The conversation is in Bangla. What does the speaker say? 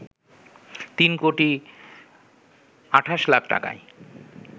তিন কোটি ২৮ লাখ টাকায়